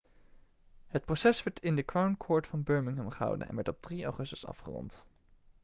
het proces werd in de crown court van birmingham gehouden en werd op 3 augustus afgerond